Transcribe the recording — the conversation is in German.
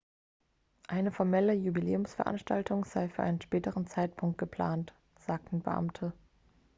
eine formelle jubiläumsveranstaltung sei für einen späteren zeitpunkt geplant sagten beamte